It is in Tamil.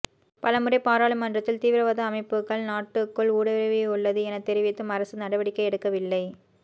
பலமுறை பாராளுமன்றத்தில் தீவிரவாத அமைப்புக்கள் நாட்டிகுள் ஊடுருவியுள்ளது என தெரிவித்தும் அரசு நடவடிக்கை எடுக்கவில்லை